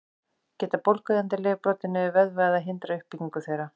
Geta bólgueyðandi lyf brotið niður vöðva eða hindrað uppbyggingu þeirra?